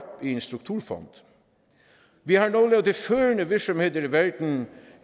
i en strukturfond vi har nogle af de førende virksomheder i verden